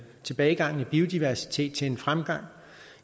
tilbagegangen i biodiversitet til en fremgang